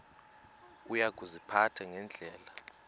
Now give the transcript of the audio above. uya kuziphatha ngendlela